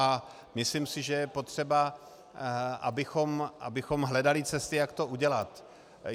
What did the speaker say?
A myslím si, že je potřeba, abychom hledali cesty, jak to udělat.